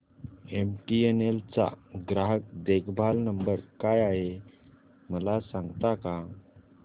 MTNL चा ग्राहक देखभाल नंबर काय आहे मला सांगता का